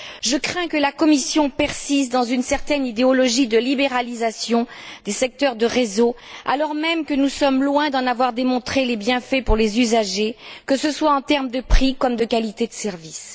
Je crains que la Commission persiste dans une certaine idéologie de libéralisation des secteurs de réseau, alors même que nous sommes loin d'en avoir démontré les bienfaits pour les usagers, que ce soit en termes de prix ou de qualité de services.